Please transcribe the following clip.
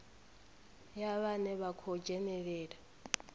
ya vhane vha khou dzhenelela